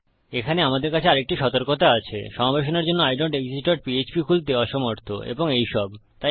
এখানে আমাদের কাছে আরেকটি সতর্কতা আছে সমাবেশনের জন্য আইডনটেক্সিস্ট ডট পিএচপি খুলতে অসমর্থ এবং এইসব